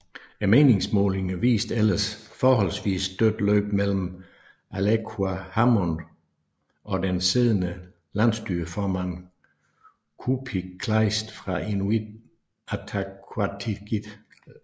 Meningsmålingerne viste ellers forholdsvis dødt løb mellem Aleqa Hammond og den siddende landsstyreformand Kuupik Kleist fra Inuit Ataqatigiit